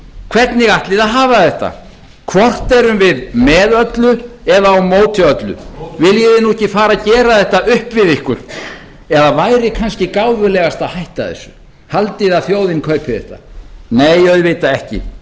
hvernig ætlið þið að hafa þetta hvort erum við með öllu eða á móti öllu viljið þið nú ekki fara að gera þetta upp við ykkur eða væri kannski gáfulegast að hætta þessu haldið þið að þjóðin kaupi þetta nei auðvitað ekki